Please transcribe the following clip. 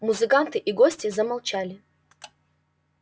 музыканты и гости замолчали